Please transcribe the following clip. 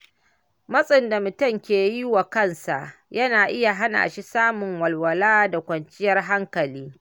Matsin da mutum ke yi wa kansa yana iya hana shi samun walwala da kwanciyar hankali.